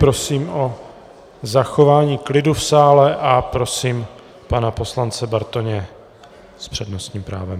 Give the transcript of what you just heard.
Prosím o zachování klidu v sále a prosím pana poslance Bartoně s přednostním právem.